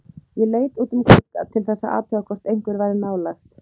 Og hvern skyldi undra þótt fyrsta minning fráfærnalambs yrði stund sorgarinnar.